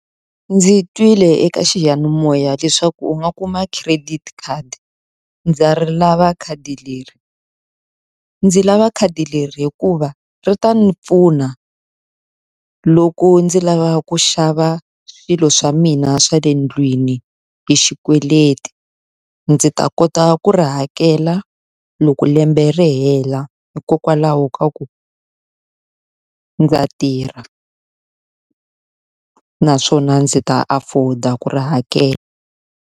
Ndzi twile eka xiyanimoya leswaku u nga kuma credit card, ndza ri lava khadi leri. Ndzi lava khadi leri hikuva ri ta ndzi pfuna loko ndzi lava ku xava swilo swa mina swa le ndlwini hi xikweleti. Ndzi ta kota ku ri hakela loko lembe ri hela hikokwalaho ka ku ndza tirha naswona ndzi ta afford-a ku ri hakela.